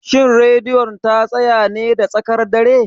Shin Radiyon ta tsaya ne da tsakar dare?